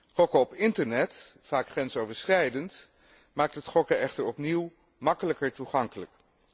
Gokken op internet vaak grensoverschrijdend maakt het gokken echter opnieuw gemakkelijker toegankelijk.